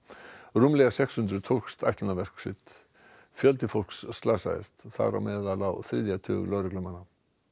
rúmlega sex hundruð tókst ætlunarverk sitt fjöldi fólks slasaðist þar á meðal á þriðja tug lögreglumanna